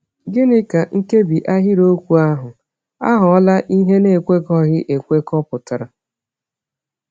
Gịnị ka nkebi ahịrịokwu ahụ “aghọla ihe na-ekwekọghị ekwekọ” pụtara?